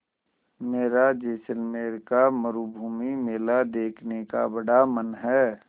मेरा जैसलमेर का मरूभूमि मेला देखने का बड़ा मन है